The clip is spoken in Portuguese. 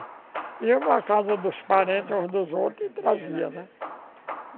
E eu, na casa dos parentes, uns dos outros, trazia, né?